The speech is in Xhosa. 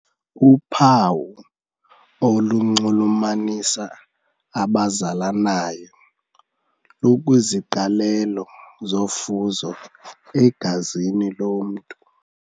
Uphawu olunxulumanisa abazalanayo lukwiziqalelo zofuzo egazini lomntu.